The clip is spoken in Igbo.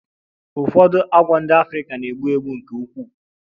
Ụfọdụ agwọ ndị Africa na-egbu egbu nke ukwuu